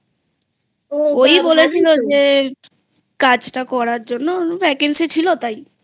ওই বলেছিল যে কাজটা করার জন্য Vacancy ছিল তাই